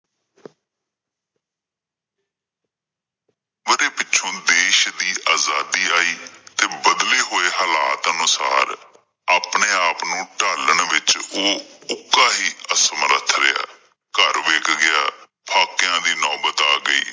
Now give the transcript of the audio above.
ਪਿੱਛੋਂ ਦੇਸ਼ ਦੀ ਆਜ਼ਾਦੀ ਆਈ ਤੇ ਬਦਲੇ ਹੋਏ ਹਾਲਾਤ ਅਨੁਸਾਰ ਆਪਣੇ ਆਪ ਨੂੰ ਢਾਲਣ ਵਿੱਚ ਉਹ ਉਕਾ ਹੀ ਅਸਮਰੱਥ ਰਿਹਾ ਘਰ ਵਿੱਕ ਗਿਆ ਫਾਕਿਆ ਦੀ ਨੌਬਤ ਆ ਗਈ।